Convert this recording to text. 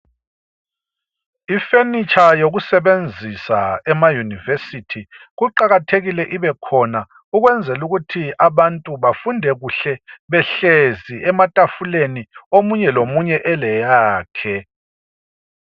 Ifurniture yokusebenzisa emayunivesithi kuqakathekile ibekhona ukwenzela ukuthi abantu bafunde kuhle behlezi ematafuleni omunye lomunye eleyakhe.